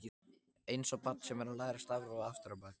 Einsog barn sem er að læra stafrófið aftur á bak.